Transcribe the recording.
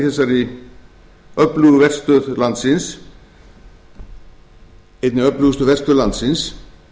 það er mikilvægt í þessari öflugu verstöð landsins